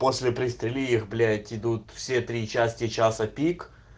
после пристрели их блять идут все три части часа пик